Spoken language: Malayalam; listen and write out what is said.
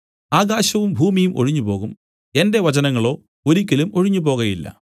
ആകാശവും ഭൂമിയും ഒഴിഞ്ഞുപോകും എന്റെ വചനങ്ങളോ ഒരിക്കലും ഒഴിഞ്ഞുപോകയില്ല